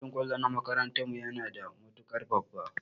Filin kwallo na makarantan mu yana da matukar babba.